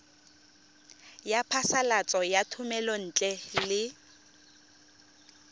ya phasalatso ya thomelontle le